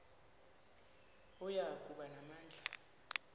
oya kuba namandla